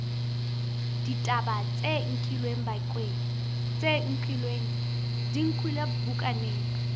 ditaba tsena di nkilwe bukaneng